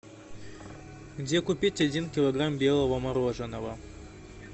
где купить один килограмм белого мороженого